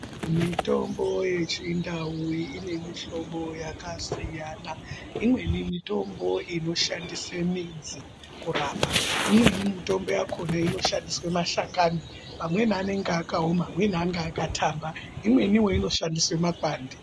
Mitombo yechindau ine mihlobo yakasiyana imweni mitombo inoshandise midzi kurapa imweni mitombo yakhona inoshandiswe mashakani pamweni anenge akaoma amweni akathamba imweni inoshandisa makwande.